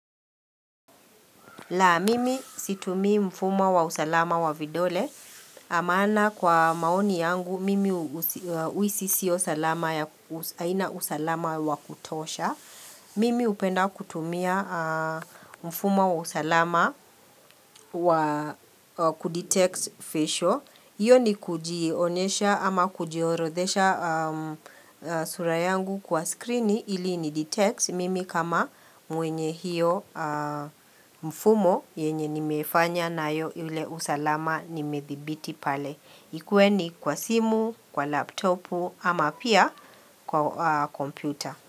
La, mimi situmi mfumo wa usalama wa vidole. A maana kwa maoni yangu, mimi uisi sio salama ya haina usalama wa kutosha. Mimi upenda kutumia mfumo wa usalama wa kudetect facial. Iyo ni kujionesha ama kujiorodhesha sura yangu kwa screeni ili inidetect. Mimi kama mwenye hiyo mfumo yenye nimefanya nayo yule usalama nimedhibiti pale. Ikue ni kwa simu, kwa laptopu ama pia kwa kompyuta.